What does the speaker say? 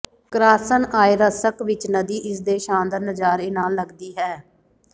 ਕ੍ਰਾਸ੍ਨਆਯਰ੍ਸ੍ਕ ਵਿੱਚ ਨਦੀ ਇਸ ਦੇ ਸ਼ਾਨਦਾਰ ਨਜ਼ਾਰੇ ਨਾਲ ਲੱਗਦੀ ਹੈ